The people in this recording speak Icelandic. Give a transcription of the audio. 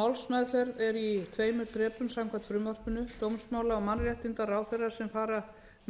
málsmeðferð er í tveimur þrepum samkvæmt frumvarpinu dómsmála og mannréttindaráðherra sem fara